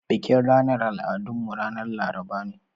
Bikin ranar al'adun mu ran Laraba ne.